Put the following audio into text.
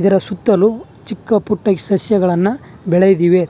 ಇದರ ಸುತ್ತಲು ಚಿಕ್ಕ ಪುಟ್ಟ ಸಸ್ಯಗಳನ್ನ ಬೆಳೆದಿವೆ.